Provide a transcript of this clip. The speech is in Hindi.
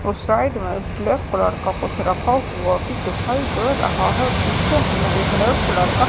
और साइड में ब्लैक कलर का कुछ रखा हुआ की दिखाई दे रहा है। पीछे हमे एक रेड कलर का --